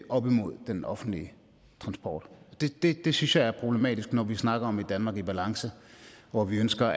op imod den offentlige transport og det synes jeg er problematisk når vi snakker om et danmark i balance hvor vi ønsker